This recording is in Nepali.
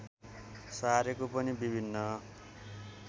सारेको पनि विभिन्न